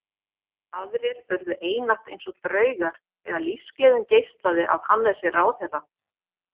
Aðrir urðu einatt eins og draugar þegar lífsgleðin geislaði af Hannesi ráðherra.